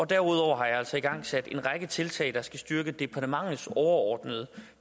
derudover har jeg altså igangsat en række tiltag der skal styrke departementets overordnede